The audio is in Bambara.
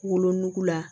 Wolonugu la